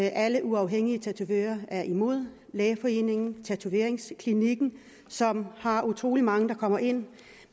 alle uafhængige tatovører er imod lægeforeningen tatoveringsklinikken som har utrolig mange der kommer ind